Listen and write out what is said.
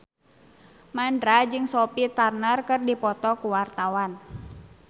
Mandra jeung Sophie Turner keur dipoto ku wartawan